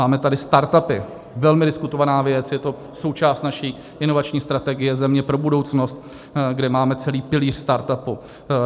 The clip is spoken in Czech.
Máme tady startupy, velmi diskutovaná věc, je to součást naší inovační strategie Země pro budoucnost, kde máme celý pilíř startupu.